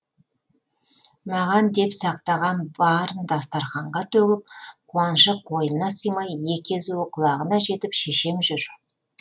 маған деп сақтаған барын дастарқанға төгіп қуанышы қойнына сыймай екі езуі құлағына жетіп шешем жүр